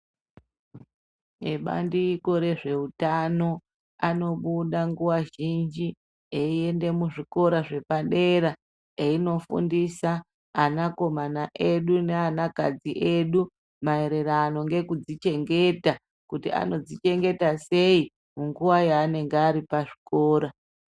Ibandiko ezveutano anobuda nguva zhinji eyienda muzvikora zvepadera eyinofundisa anakomana edu neana kadzi edu maererano ngeku dzichengeta kuti ano dzichegengeta sei munguva yaanenge vari pazvikora.